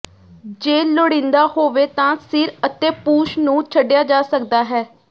ਜੇ ਲੋੜੀਦਾ ਹੋਵੇ ਤਾਂ ਸਿਰ ਅਤੇ ਪੂਛ ਨੂੰ ਛੱਡਿਆ ਜਾ ਸਕਦਾ ਹੈ